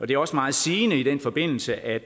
det er også meget sigende i den forbindelse at